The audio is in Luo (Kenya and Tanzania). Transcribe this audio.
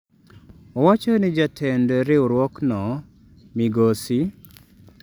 Owacho ni jatend riwruokno, migosi